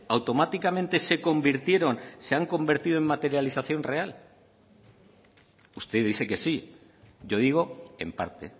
automáticamente se convirtieron se han convertido en materialización real usted dice que sí yo digo en parte